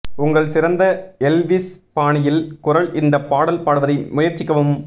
உங்கள் சிறந்த எல்விஸ் பாணியில் குரல் இந்த பாடல் பாடுவதை முயற்சிக்கவும்